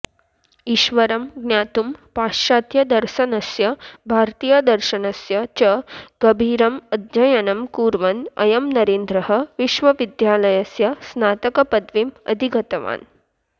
ईश्वरं ज्ञातुं पाश्चात्यदर्शनस्य भारतीयदर्शनस्य च गभीरम् अध्ययनं कुर्वन् अयं नरेन्द्रः विश्वविद्यालयस्य स्नातकपदवीम् अधिगतवान्